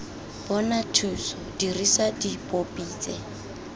bona thuso dirisa dipopi tse